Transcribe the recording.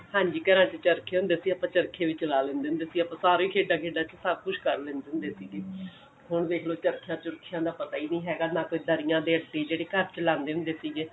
ਹਾਂਜੀ ਘਰਾਂ ਚ ਚਰਖੇ ਹੁੰਦੇ ਆਪਾਂ ਚਰਖੇ ਵੀ ਚਲਾ ਲੇਂਦੇ ਹੁੰਦੇ ਸੀ ਆਪਾਂ ਸਾਰਿਆਂ ਖੇਡਾਂ ਖੇਡਾਂ ਚ ਸਬ ਕੁੱਛ ਕਰ ਲਿੰਦੇ ਹੁੰਦੇ ਸੀਗੇ ਹੁਣ ਦੇਖਲੋ ਚਰਖਿਆ ਚੁਰਖਿਆ ਦਾ ਪਤਾ ਹੀ ਨਹੀਂ ਹੈਗਾ ਨਾ ਕੋਈ ਦਰਿਆ ਦੇ ਜਿਹੜੇ ਘਰ ਚਲਾਂਦੇ ਹੁੰਦੇ ਸੀਗੇ